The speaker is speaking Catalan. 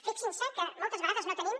fixin se que moltes vegades no tenim